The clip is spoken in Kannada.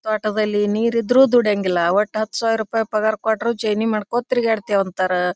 ತೋಟದಲ್ಲಿ ನೀರಿದ್ರೂ ದುಡಿಯಂಗಿಲ್ಲ ಒಟ್ಟು ಹತ್ತು ಸಾವಿರ ರೂಪಾಯಿ ಪಗಾರ ಕೊಟ್ರೆ ಚೇಣಿ ಮಾಡ್ಕೊಂಡು ತಿರುಗಾಡ್ತಿವಿ ಅಂತಾರೆ.